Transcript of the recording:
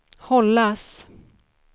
hållas